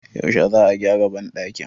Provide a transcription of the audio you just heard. yaushe za a gyara bandakin?